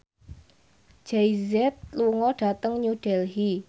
Jay Z lunga dhateng New Delhi